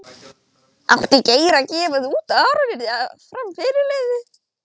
Átti Geir að gefa það út að Aron yrði áfram fyrirliði?